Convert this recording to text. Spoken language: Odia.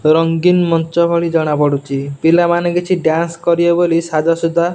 ରଙ୍ଗୀନ ମଞ୍ଚ ଭଳି ଜଣା ପଡ଼ୁଚି ପିଲାମାନେ କିଛି ଡ୍ୟାନ୍ସ୍ କରିବେ ବୋଲି ସାଜସଜ୍ଜା --